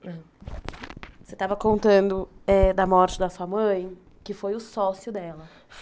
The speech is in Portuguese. Você estava contando eh da morte da sua mãe, que foi o sócio dela.